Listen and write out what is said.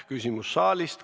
Küsimus saalist.